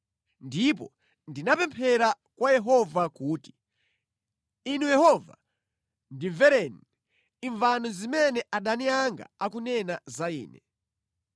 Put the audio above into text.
Ndipo ndinapemphera kwa Yehova kuti, “Inu Yehova, ndimvereni; imvani zimene adani anga akunena za ine!